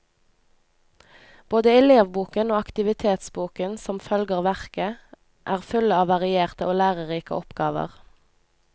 Både elevboken og aktivitetsboken, som følger verket, er fulle av varierte og lærerike oppgaver.